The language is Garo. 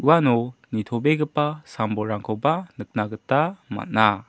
uano nitobegipa sam-bolrangkoba nikna gita man·a.